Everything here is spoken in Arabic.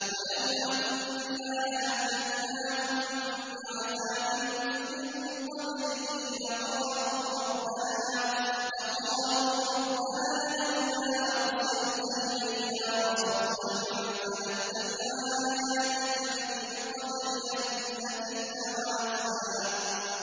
وَلَوْ أَنَّا أَهْلَكْنَاهُم بِعَذَابٍ مِّن قَبْلِهِ لَقَالُوا رَبَّنَا لَوْلَا أَرْسَلْتَ إِلَيْنَا رَسُولًا فَنَتَّبِعَ آيَاتِكَ مِن قَبْلِ أَن نَّذِلَّ وَنَخْزَىٰ